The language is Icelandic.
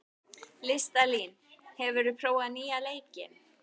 Listalín, hefur þú prófað nýja leikinn?